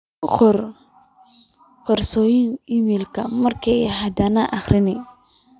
u qor qoyska iimayl markas hadane aqri